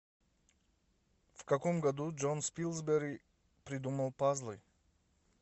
в каком году джон спилсбери придумал пазлы